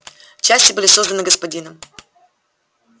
части были созданы господином